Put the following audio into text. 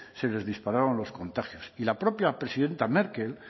se les dispararon los contagios y la propia presidenta merkel